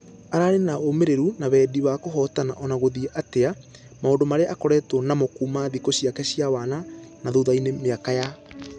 Ararĩ na wũmĩreru na wendi wa kũhotana ona gũthie atia , maũndũ marĩa akoretwo namo kuuma thikũ ciake cia wana na thutha-inĩ miaka yake ya.....